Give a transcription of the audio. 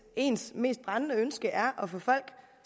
ens mest brændende ønske er at få folk